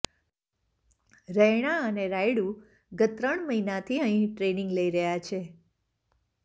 રૈના અને રાયડૂ ગત ત્રણ મહિનાથી અહીં ટ્રેનિંગ લઇ રહ્યા છે